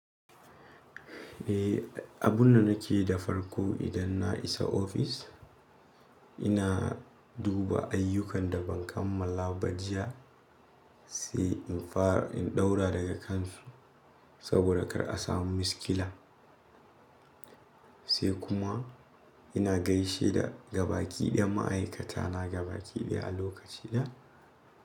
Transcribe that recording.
Eh, abunda nakeyi da farko idan na isa ofis, ina duba ayyukan da ban kammala ba jiya, sai in fara in ɗaura daga kansu saboda kar a samu miskila. Sai kuma ina gaishe da gabaki ɗaya ma'aikata na gabaki ɗaya a lokaci da.